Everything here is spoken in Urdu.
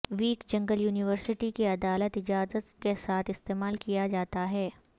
ویک جنگل یونیورسٹی کی عدالت اجازت کے ساتھ استعمال کیا جاتا ہے